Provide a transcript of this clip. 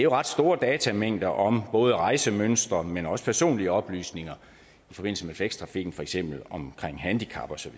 ret store datamængder om både rejsemønstre men også personlige oplysninger i forbindelse med flextrafikken for eksempel om handicap og så